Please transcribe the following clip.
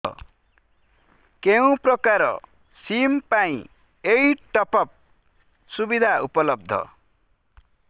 କେଉଁ ପ୍ରକାର ସିମ୍ ପାଇଁ ଏଇ ଟପ୍ଅପ୍ ସୁବିଧା ଉପଲବ୍ଧ